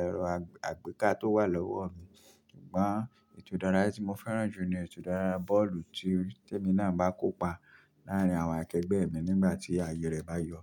ẹ̀rọ àgbéká tó wà lọ́wọ́ mi. Ṣùgbọ́n ètò ìdárayá tí mo fẹ́ràn jù ni ètò ìdárayá bọ́ọ̀lù tí èmi náà bá kópa láàárín àwọn akẹgbẹ́ mi nígbà tí ayé rẹ bá yọ̀.